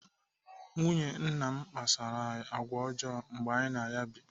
Nwunye nna kpasoro anyị àgwà ọjọọ mgbe anyị na ya bụ.